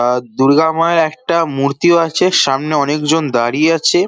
আ দূর্গা মায়ের একটা মূর্তিও আছে সামনে অনেকজন দাঁড়িয়ে আছে।